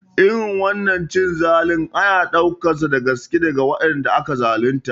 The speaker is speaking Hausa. Irin wannan cin zalin ana ɗaukarsa da gaske daga waɗanda aka zalunta